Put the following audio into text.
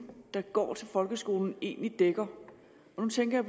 der går til folkeskolen egentlig dækker nu tænker